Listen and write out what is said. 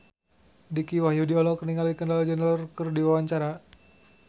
Dicky Wahyudi olohok ningali Kendall Jenner keur diwawancara